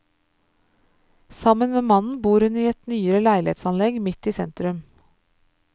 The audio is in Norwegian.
Sammen med mannen bor hun i et nyere leilighetsanlegg midt i sentrum.